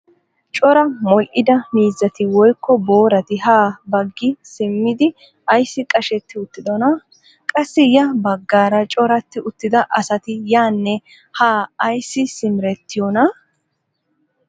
Cora modhdhida miizzati woykko boorati ha baggi simmidi ayssi qashetti uttidonaa? qassi ya baggaara corati uttida asati yaanne haa ayssi simerettiyoonaa?